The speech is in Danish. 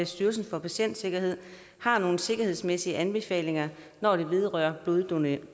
styrelsen for patientsikkerhed har nogle sikkerhedsmæssige anbefalinger når det vedrører bloddonorer